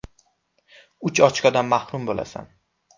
Uch ochkodan mahrum bo‘lasan.